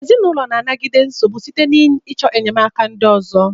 Ezinụlọ na-anagide nsogbu site n'ịchọ enyemaka ndị ọzọ.